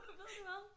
Ved du hvad